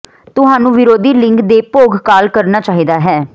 ਤੁਹਾਨੂੰ ਵਿਰੋਧੀ ਲਿੰਗ ਦੇ ਭੋਗ ਕਾਲ ਕਰਨਾ ਚਾਹੀਦਾ ਹੈ